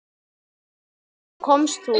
Og þá komst þú.